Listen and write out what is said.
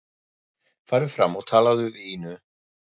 Farðu fram og talaðu við Ínu.